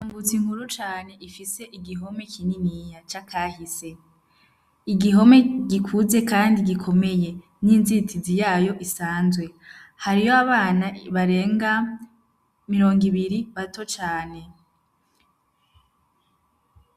Ambutsa inkuru cane ifise igihome kininyiya c'akahise igihome gikuze, kandi gikomeye n'inzitizi yayo isanzwe hariho abana barenga mirongo ibiri bato cane.